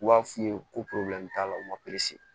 U b'a f'i ye ko t'a la u ma